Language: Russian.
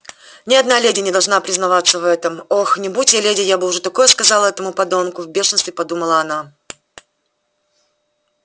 ни одна леди не должна признаваться в этом ох не будь я леди я бы уж такое сказала этому подонку в бешенстве подумала она